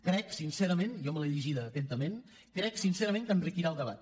crec sincerament jo me l’he llegida atentament que enriquirà el debat